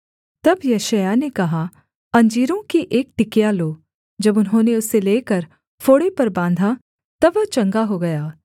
तब यशायाह ने कहा अंजीरों की एक टिकिया लो जब उन्होंने उसे लेकर फोड़े पर बाँधा तब वह चंगा हो गया